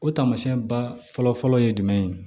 O taamasiyɛn ba fɔlɔ fɔlɔ ye jumɛn ye